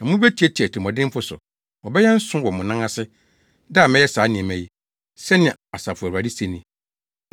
Na mubetiatia atirimɔdenfo so; wɔbɛyɛ nsõ wɔ mo anan ase, da a mɛyɛ saa nneɛma yi,” sɛnea Asafo Awurade se ni.